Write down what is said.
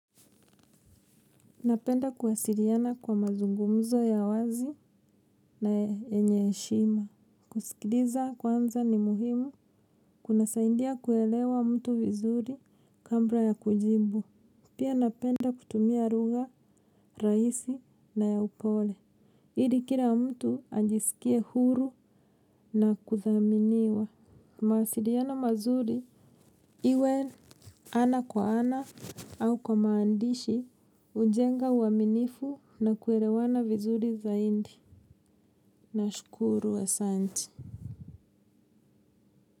Napenda kuwasiriana kwa mazungumzo ya wazi na yenye heshima. Kusikiriza kwanza ni muhimu kunasaindia kuelewa mtu vizuri kambra ya kujibu. Pia napenda kutumia ruga, raisi na ya upole. Iri kila mtu ajisikie huru na kuthaminiwa. Mawasiriano mazuri iwe ana kwa ana au kwa maandishi hujenga uaminifu na kuerewana vizuri zaidi. Nashukuru asanti.